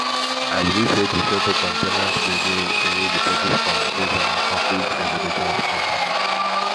i believe sey to settle co ten ant gbege dey need effective communication and conflict resolution skills